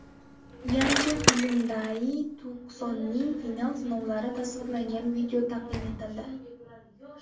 Yangi Hyundai Tucson’ning final sinovlari tasvirlangan video taqdim etildi.